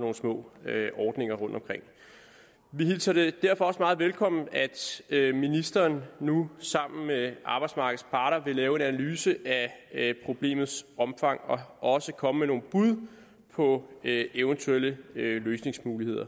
nogle små ordninger rundtomkring vi hilser det derfor også meget velkommen at ministeren nu sammen med arbejdsmarkedets parter vil lave en analyse af problemets omfang og også komme med nogle bud på eventuelle løsningsmuligheder